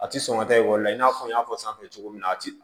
A ti sɔn ka taa ekɔli la i n'a fɔ n y'a fɔ sanfɛ cogo min na a ti